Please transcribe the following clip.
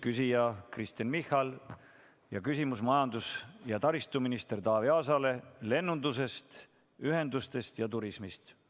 Küsija on Kristen Michal ja küsimus on majandus- ja taristuminister Taavi Aasale lennunduse, ühenduste ja turismi kohta.